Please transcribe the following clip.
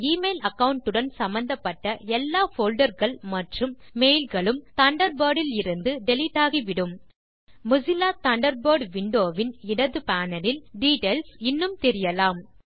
அந்த email account உடன் சம்பந்தப்பட்ட எல்லா போல்டர்ஸ் மற்றும் மெயில் களும் தண்டர்பர்ட் இலிருந்து டிலீட் ஆகிவிடும் மொசில்லா தண்டர்பர்ட் விண்டோ வின் இடது பேனல் இல் டிட்டெயில்ஸ் இன்னும் தெரியலாம்